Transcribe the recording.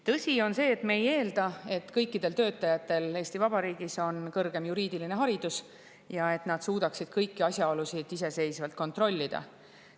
Tõsi on see, et me ei eelda, et kõikidel töötajatel Eesti Vabariigis on kõrgem juriidiline haridus ja et nad kõik suudavad kõiki asjaolusid iseseisvalt kontrollida.